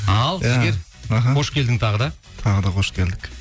ал жігер іхі қош келдің тағы да тағы да қош келдік